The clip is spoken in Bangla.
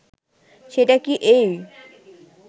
সেটা কি এই